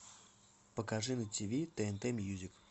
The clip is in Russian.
покажи на тиви тнт мьюзик